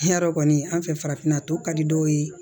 Yarɔ kɔni an fɛ farafinna tɔ ka di dɔw ye